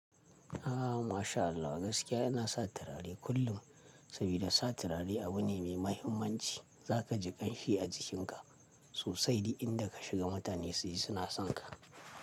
Ah masha Allah gaskiya yana sa turare kullum, sabida sa turare abu ne mai muhimmanci. Zaka ji ƙanshi a jikinka sosai, dik inda ka shiga mutane suyi suna sonka.